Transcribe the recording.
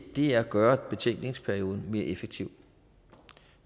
er at gøre betænkningsperioden mere effektiv